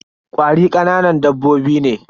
Ƙwari kananan dabbobi ne.